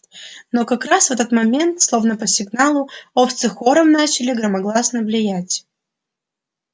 но как раз в этот момент словно по сигналу овцы хором начали громогласно блеять